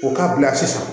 O ka bila sisan